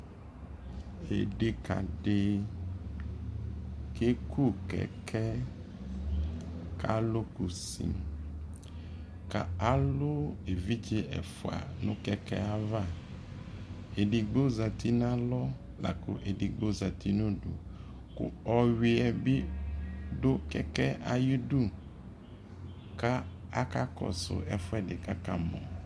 ɛdɛka di kɛkʋ kɛkɛɛ kʋ alʋ kʋsi kʋ alʋɛvidzɛ ɛƒʋa nʋ kɛkɛɛ aɣa, ɛdigbɔ zati nʋ alɔ lakʋ ɛdigbɔ zati nʋ ʋdʋ kʋ ɔwiɛ bi dʋ kɛkɛɛ ayidʋ ka akakɔsʋ ɛƒʋɛdi kʋ akamɔ